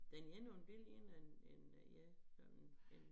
Den ene er jo en billig én af en en ja sådan en